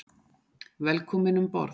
Velkominn um borð.